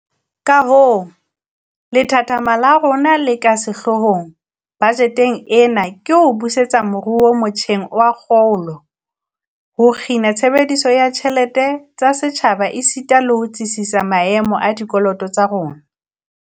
Kahoo, lethathama la rona le ka sehloohong bajeteng ena ke ho busetsa moruo motjheng wa kgolo, ho kgina tshebediso ya ditjhelete tsa setjhaba esita le ho tsitsisa maemo a dikoloto tsa rona.